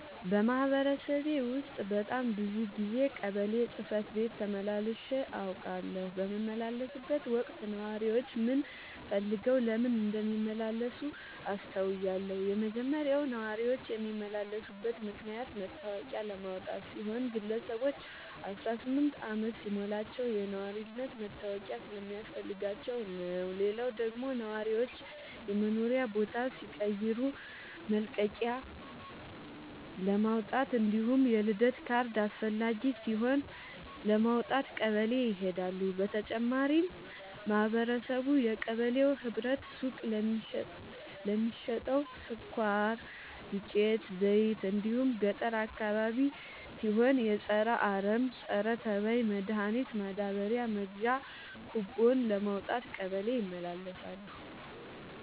በማህበረሰቤ ውስጥ በጣም ብዙ ጊዜ ቀበሌ ጽህፈት ቤት ተመላልሼ አውቃለሁ። በምመላለስበትም ወቅት ነዋሪዎች ምን ፈልገው ለምን እንደሚመላለሱ አስተውያለሁ የመጀመሪያው ነዋሪዎች የሚመላለሱበት ምክንያት መታወቂያ ለማውጣት ሲሆን ግለሰቦች አስራስምንት አመት ሲሞላቸው የነዋሪነት መታወቂያ ስለሚያስፈልጋቸው ነው። ሌላው ደግሞ ነዋሪዎች የመኖሪያ ቦታ ሲቀይሩ መልቀቂያለማውጣት እንዲሁም የልደት ካርድ አስፈላጊ ሲሆን ለማውጣት ቀበሌ ይሄዳሉ። በተጨማሪም ማህበረቡ የቀበሌው ህብረት ሱቅ ለሚሸተው ስኳር፣ ዱቄት፣ ዘይት እንዲሁም ገጠር አካባቢ ሲሆን የፀረ አረም፣ ፀረተባይ መድሀኒት ማዳበሪያ መግዣ ኩቦን ለማውጣት ቀበሌ ይመላለሳሉ።